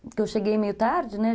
Porque eu cheguei meio tarde, né?